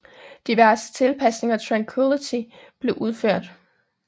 Diverse tilpasninger af Tranquility blev udført